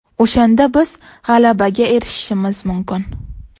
O‘shanda biz g‘alabaga erishishimiz mumkin.